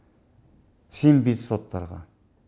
сенбейді соттарға